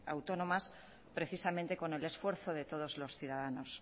autónomas precisamente con el esfuerzo de todos los ciudadanos